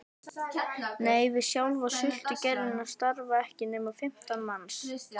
Nei, við sjálfa sultugerðina starfa ekki nema fimmtán manns